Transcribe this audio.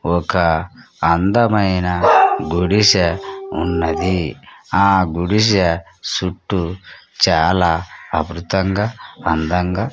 ఒక అందమైన గుడిసె ఉన్నది ఆ గుడిసె సుట్టూ చాలా అమృతంగా అందంగా--